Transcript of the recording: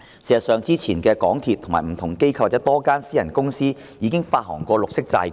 事實上，之前香港鐵路有限公司、不同機構及多間私人公司也曾發行綠色債券。